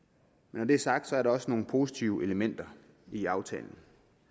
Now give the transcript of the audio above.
når det er sagt er der også nogle positive elementer i aftalen